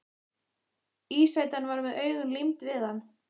Ísætan var með augun límd við hann.